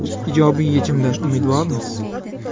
Ijobiy yechimdan umidvormiz.